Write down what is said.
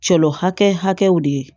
Celo hakɛw de ye